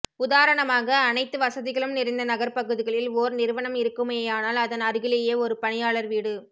உதாரணமாக அனைத்து வசதிகளும் நிறைந்த நகர்ப்பகுதிகளில் ஓர் நிறுவனம் இருக்குமேயானால் அதன் அருகிலேயே ஒரு பணியாளர் வீடு